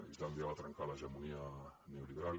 islàndia va trencar l’hegemonia neoliberal